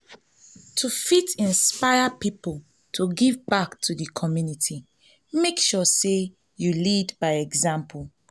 to fit inspire people to give back to di community make sure say you lead by example